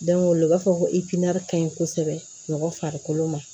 Don o don u b'a fɔ ko kaɲi kosɛbɛ mɔgɔ farikolo ma